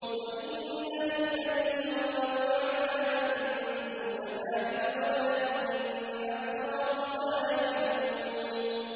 وَإِنَّ لِلَّذِينَ ظَلَمُوا عَذَابًا دُونَ ذَٰلِكَ وَلَٰكِنَّ أَكْثَرَهُمْ لَا يَعْلَمُونَ